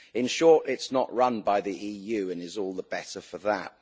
In short, it's not run by the EU and is all the better for that.